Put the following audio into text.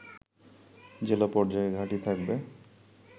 জেলা পর্যায়ে ঘাঁটি থাকবে